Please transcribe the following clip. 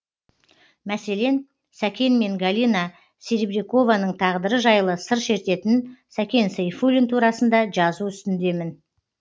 мәселен сәкен мен галина серебрякованың тағдыры жайлы сыр шертетін сәкен сейфуллин турасында жазу үстіндемін